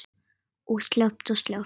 Og sleppt og sleppt.